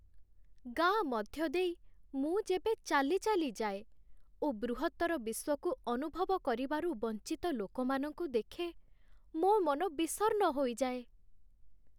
ଗାଁ ମଧ୍ୟ ଦେଇ ମୁଁ ଯେବେ ଚାଲି ଚାଲି ଯାଏ ଓ ବୃହତ୍ତର ବିଶ୍ଵକୁ ଅନୁଭବ କରିବାରୁ ବଞ୍ଚିତ ଲୋକମାନଙ୍କୁ ଦେଖେ, ମୋ ମନ ବିଷର୍ଣ୍ଣ ହୋଇଯାଏ।